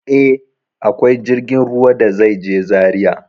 E, akwai jirgin ruwa da zai je Zaria.